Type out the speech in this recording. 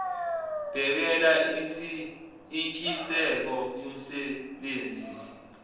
bhekelela intshiseko yomsebenzisi